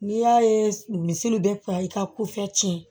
N'i y'a ye misi bɛ fa i ka kofɛ tiɲɛ